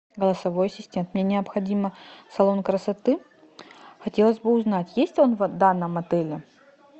голосовой ассистент мне необходимо салон красоты хотелось бы узнать есть он в данном отеле